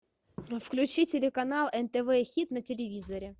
включи телеканал нтв хит на телевизоре